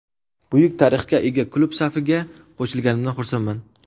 Buyuk tarixga ega klub safiga qo‘shilganimdan xursandman.